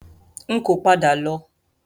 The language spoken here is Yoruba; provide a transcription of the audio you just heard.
N kò padà lọ.